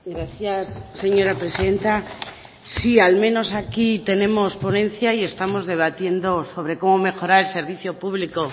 gracias señora presidenta sí al menos aquí tenemos ponencia y estamos debatiendo sobre cómo mejorar el servicio público